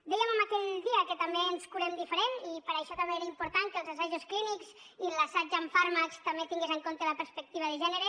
dèiem aquell dia que també ens curem diferent i per això també era important que els assajos clínics i l’assaig amb fàrmacs també tingués en compte la perspectiva de gènere